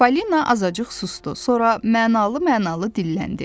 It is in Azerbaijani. Falina azacıq susdu, sonra mənalı-mənalı dilləndi.